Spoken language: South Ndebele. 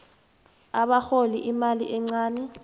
abarhola imali encani